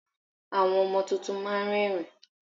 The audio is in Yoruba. Àwọn ọmọ tuntun máa ń rẹ́rìń.